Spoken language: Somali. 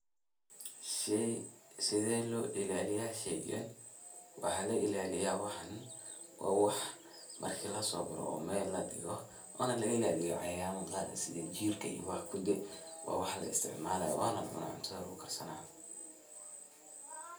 Sethee lo ilaliyah sheeygan, waxa la ilaleeyah wa wax marki lo so gaathoh oo meel ladigoh oo laga ilaliyah cayayama Qaar stha jeerka iyo waxkali waxa kudi wa wax la isticmalayo cunthan lagu karsanayo.